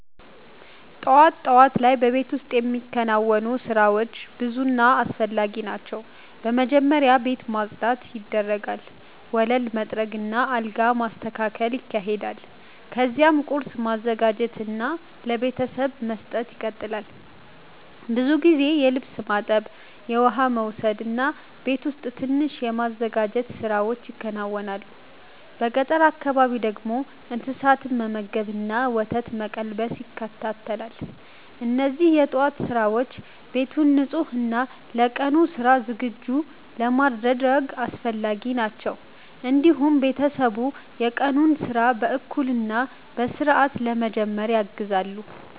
ጠዋት ጠዋት ላይ በቤት ውስጥ የሚከናወኑ ስራዎች ብዙ እና አስፈላጊ ናቸው። በመጀመሪያ ቤት ማጽዳት ይደረጋል፣ ወለል መጥረግ እና አልጋ መስተካከል ይካሄዳል። ከዚያም ቁርስ ማዘጋጀት እና ለቤተሰብ መስጠት ይቀጥላል። ብዙ ጊዜ የልብስ ማጠብ፣ የውሃ መውሰድ እና ቤት ውስጥ ትንሽ የማዘጋጀት ስራዎች ይከናወናሉ። በገጠር አካባቢ ደግሞ እንስሳትን መመገብ እና ወተት መቀልበስ ይካተታል። እነዚህ የጠዋት ስራዎች ቤትን ንጹህ እና ለቀኑ ስራ ዝግጁ ለማድረግ አስፈላጊ ናቸው። እንዲሁም ቤተሰብ የቀኑን ስራ በእኩል እና በስርዓት ለመጀመር ያግዛሉ።